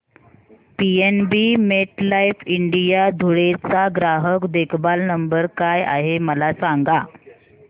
PNB MetLife India Dhule चा ग्राहक देखभाल नंबर काय आहे मला सांगा